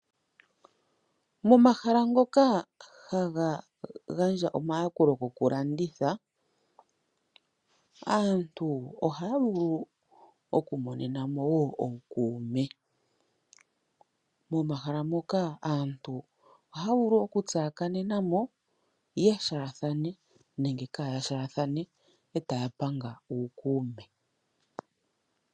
Momahala ngoka haga gandja omayakulo goku landitha aantu ohaya vulu okumonena woo ookuume momahala moka aantu oha vulu okutsakanenamo yeshathane nenge kayashathane etapanga uukume.